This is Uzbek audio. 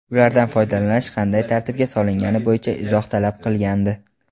ulardan foydalanish qanday tartibga solingani bo‘yicha izoh talab qilgandi.